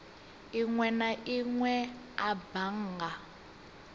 inwe na inwe a bannga